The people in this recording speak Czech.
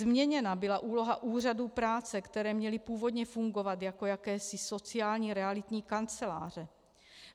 Změněna byla úloha úřadů práce, které měly původně fungovat jako jakési sociální realitní kanceláře.